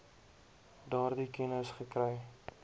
daardie kennis gekry